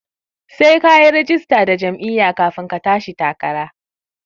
Sai kayi rajista da jam'iyya kafin ka tashi takara